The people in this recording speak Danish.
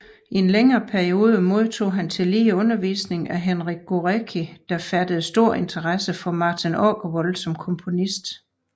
I en længere periode modtog han tillige undervisning af Henryk Górecki der fattede stor interesse for Martin Åkerwall som komponist